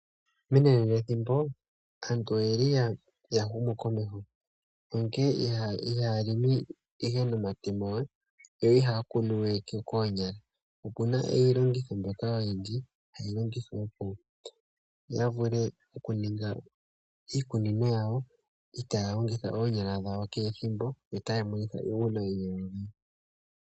Menanenathimbo aantu oye li ya humukomeho onkene oha ya longo we nomatemo yo ihaa kunu we noompadhi. Okuna iilongitho yimwe ha yi longithwa opo yaa ha longithe eenyala dhawo keethimbo.